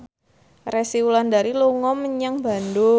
Resty Wulandari dolan menyang Bandung